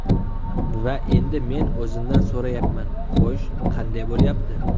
Va endi men o‘zimdan so‘rayapman: Xo‘sh, qanday bo‘lyapti?